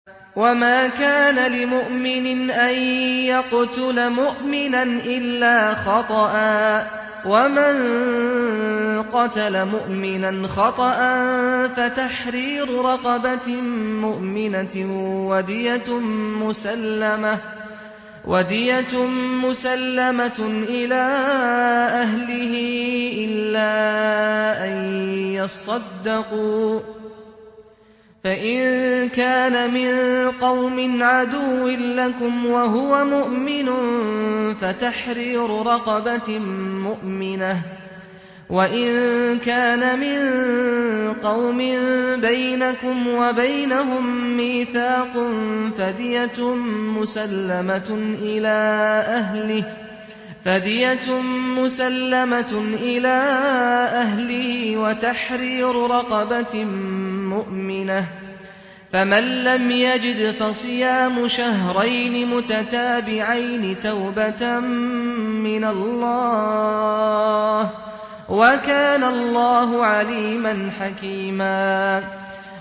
وَمَا كَانَ لِمُؤْمِنٍ أَن يَقْتُلَ مُؤْمِنًا إِلَّا خَطَأً ۚ وَمَن قَتَلَ مُؤْمِنًا خَطَأً فَتَحْرِيرُ رَقَبَةٍ مُّؤْمِنَةٍ وَدِيَةٌ مُّسَلَّمَةٌ إِلَىٰ أَهْلِهِ إِلَّا أَن يَصَّدَّقُوا ۚ فَإِن كَانَ مِن قَوْمٍ عَدُوٍّ لَّكُمْ وَهُوَ مُؤْمِنٌ فَتَحْرِيرُ رَقَبَةٍ مُّؤْمِنَةٍ ۖ وَإِن كَانَ مِن قَوْمٍ بَيْنَكُمْ وَبَيْنَهُم مِّيثَاقٌ فَدِيَةٌ مُّسَلَّمَةٌ إِلَىٰ أَهْلِهِ وَتَحْرِيرُ رَقَبَةٍ مُّؤْمِنَةٍ ۖ فَمَن لَّمْ يَجِدْ فَصِيَامُ شَهْرَيْنِ مُتَتَابِعَيْنِ تَوْبَةً مِّنَ اللَّهِ ۗ وَكَانَ اللَّهُ عَلِيمًا حَكِيمًا